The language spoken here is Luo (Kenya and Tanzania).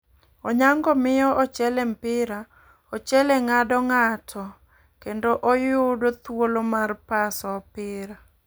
Onyango miyo ochele mpira ,ochele ngado ngato kendo oyudo thuolo mar paso opira.